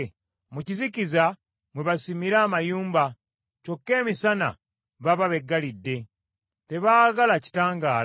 Mu kizikiza mwe basimira amayumba, kyokka emisana baba beggalidde. Tebaagala kitangaala.